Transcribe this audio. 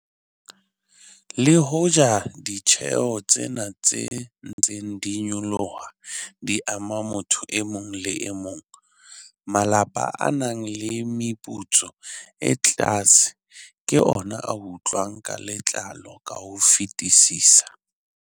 Le hoja ditjeho tsena tse ntseng di nyoloha di ama motho e mong le e mong, malapa a nang le meputso e tlase ke ona a utlwang ka letlalo ka ho fetisisa.